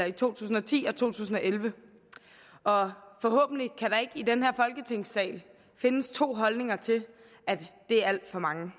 i to tusind og ti og to tusind og elleve og forhåbentlig kan der ikke i den her folketingssal findes to holdninger til at det er alt for mange